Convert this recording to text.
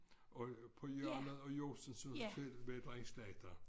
Og på hjørnet af Josefsens Hotel var der en slagter